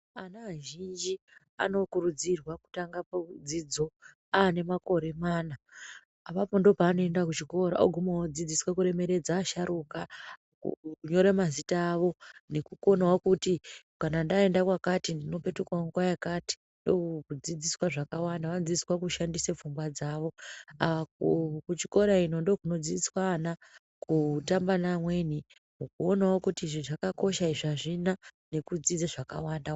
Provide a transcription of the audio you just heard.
Ana azhinji anokurudzirwa kutanga dzidzo anemakore mana apapo ndopanoenda kuchikora oguma odzidziswa kuremeredza asharuka kunyora mazina avo nekukonawo kuti kana ndaenda kwakati ndopetukawo nguwa yakati ndokudzidziswa zvakawanda vanodzidziswa kushandisa pfungwa dzawo apo kuchikora ino ndiko kundzidziswa ana kutamba neamweni kuona kuti izvi zvakakosha izvi azvina nekudzidze zvakawanda wanda.